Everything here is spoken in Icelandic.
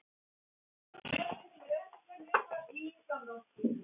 Í skaflinum við reynitréð væri gott að sofa.